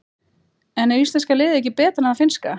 En er íslenska liðið ekki betra en það finnska?